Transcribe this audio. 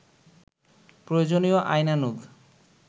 প্রয়োজনীয় আইনানুগ